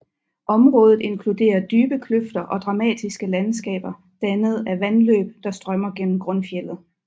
Området inkluderer dybe kløfter og dramatiske landskaber dannet af vandløb der strømmer gennem grundfjeldet